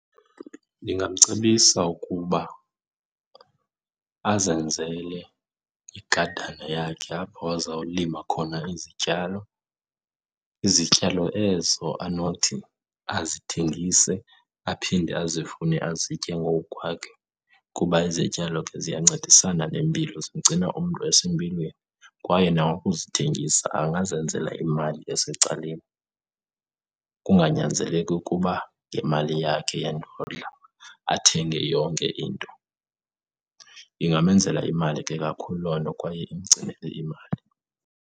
Ndingamcebisa ukuba azenzele igadana yakhe apho azawulima khona izityalo. Izityalo ezo anothi azithengise aphinde azivune azitye ngowukwakhe kuba izityalo ke ziyancedisana nempilo, zimgcina umntu esempilweni. Kwaye nangokuzithengisa angazenzela imali esecaleni, kunganyanzeleki ukuba ngemali yakhe yendodla athenge yonke into. Ingamenzela imali ke kakhulu loo nto kwaye imgcinele imali.